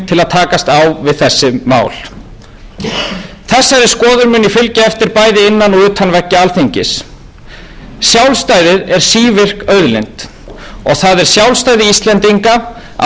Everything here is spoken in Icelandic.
til að takast á við þessi mál þessari skoðun mun ég fylgja bæði innan og utan veggja alþingis sjálfstæðið er sívirk auðlind og það er sjálfstæði íslendinga ásamt jöfnuði krafti